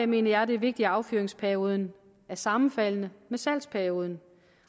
mener jeg det er vigtigt at affyringsperioden er sammenfaldende med salgsperioden